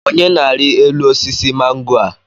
Onye na-arị elu osisi mango a?